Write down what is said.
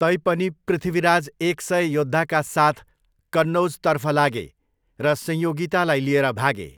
तैपनि, पृथ्वीराज एक सय योद्धाका साथ कन्नौजतर्फ लागे र संयोगितालाई लिएर भागे।